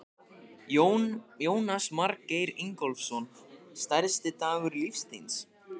Jónas Margeir Ingólfsson: Stærsti dagur lífs þíns?